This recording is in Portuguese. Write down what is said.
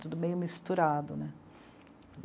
Tudo meio misturado, né.